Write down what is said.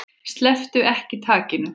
Slepptu ekki takinu.